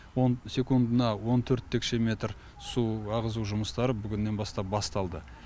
он секундына он төрт текше метр су ағызу жұмыстары бүгіннен бастап басталды